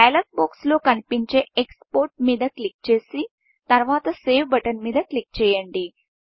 dialogue box లో కనిపించే export మీద క్లిక్ చేసి తరువాత సేవ్ బటన్ మీద క్లిక్ చేయండి